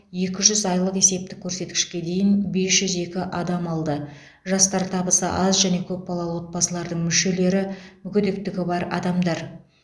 екі жүз айлық есептік көрсеткішке дейін бес жүз екі адам алды жастар табысы аз және көпбалалы отбасылардың мүшелері мүгедектігі бар адамдар